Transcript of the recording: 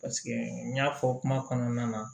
Paseke n y'a fɔ kuma kɔnɔna na